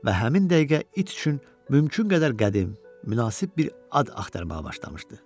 və həmin dəqiqə it üçün mümkün qədər qədim, münasib bir ad axtarmağa başlamışdı.